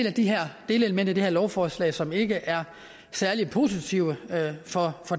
af de her delelementer i det her lovforslag som ikke er særlig positive for